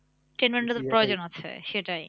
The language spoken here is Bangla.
Entertainment ও প্রয়োজন আছে সেটাই